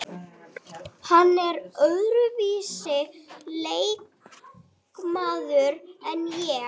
Þau draga úr bólgum sem fylgja í kjölfar áverka.